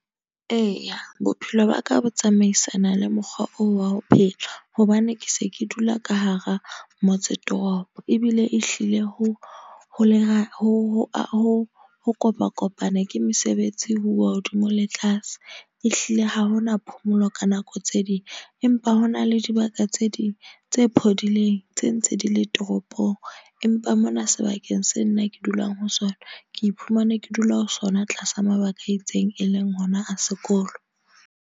Eya, bophelo ba ka bo tsamaisana le mokgwa oo wa ho phela. Hobane ke se ke dula ka hara motse toropo. Ebile ehlile ho kopa kopane. Ke mesebetsi ho uwa hodimo le tlase. Ehlile ha hona phomolo ka nako tse ding. Empa hona le dibaka tse ding tse phodileng, tse ntse di le toropong. Empa mona sebakeng se nna ke dulang ho sona, ke iphumana ke dula ho sona tlasa mabaka a itseng, e leng hona a sekolo.